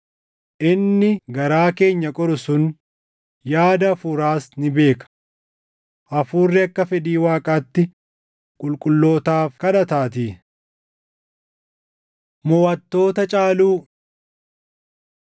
Inni garaa keenya qoru sun yaada Hafuuraas ni beeka; Hafuurri akka fedhii Waaqaatti qulqullootaaf kadhataatii. Moʼattoota Caaluu